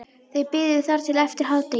Þau biðu þar til eftir hádegi.